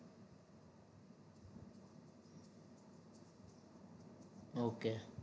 okay